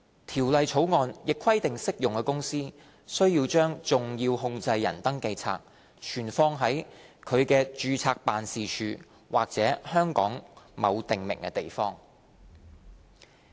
《條例草案》亦規定適用公司須將"重要控制人登記冊"存放在其註冊辦事處或香港某訂明地方。